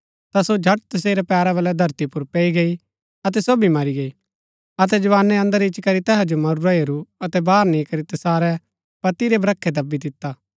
ता सो झट तसेरै पैरा बलै धरती पुर पैई गई अतै सो भी मरी गई अतै जवानै अन्दर इच्ची करी तैहा जो मरूरा हेरू अतै बाहर नी करी तैसारै पति रै ब्रखै दबी दिता